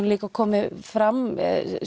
líka komið fram